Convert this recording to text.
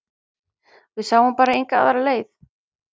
Við sáum bara enga aðra leið